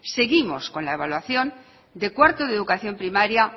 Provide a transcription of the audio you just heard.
seguimos con la evaluación de cuarto de educación primaria